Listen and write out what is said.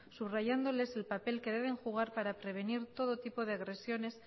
subrayándoles el papel que deben jugar para prevenir todo tipo de agresiones